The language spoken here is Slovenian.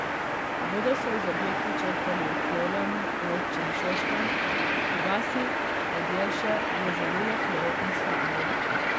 Vodo so iz objekta črpali v Florjanu v občini Šoštanj, v vasi Podjelše je zalilo hlev in shrambo.